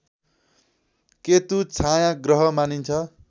केतु छायाँग्रह मानिन्छ